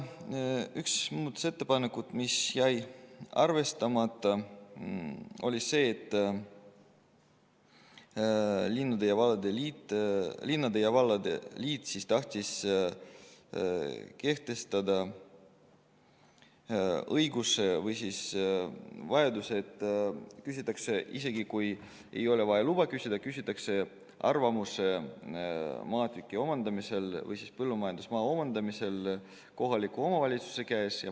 Üks muudatusettepanek, mis jäi arvestamata, oli see, et Eesti Linnade ja Valdade Liit tahtis anda, et kui luba ei ole vaja, siis küsitakse maatüki omandamisel kohaliku omavalitsuse arvamust.